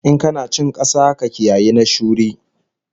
In kana cin kasa, ka kiyayi na shuri